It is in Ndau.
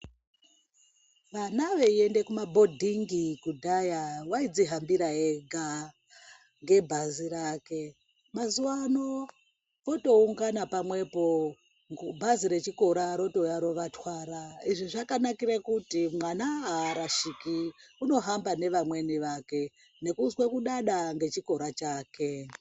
Vana veiende kumabhodhingi kudhaya vaidzihambira vega ngebhazi rake. Mazuwano votoungana pamwepo bhazi rechikora rotouya rovatwara. Izvi zvakanakire kuti mwana haarashiki. Unohamba nevamweni vake nekuzwe kudada ngechikora chake.